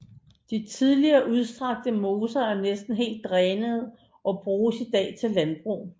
De tidligere udstrakte moser er næsten helt drænet og bruges i dag til landbrug